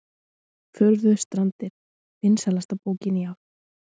Furðustrandir vinsælasta bókin í ár